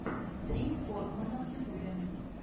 стрим форкмэна в ютубе